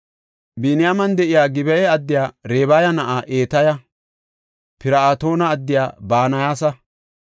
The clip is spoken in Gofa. Biniyaamen de7iya Gib7a addiya Rabaya na7a Etaya, Pir7atoona addiya Banayasa,